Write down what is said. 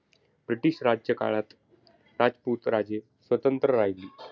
British राज्यकाळात राजपूत राजे स्वतंत्र राहिली.